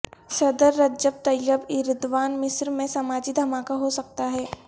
صدر Recep Tayyip Erdogan مصر میں سماجی دھماکہ ہو سکتا ہے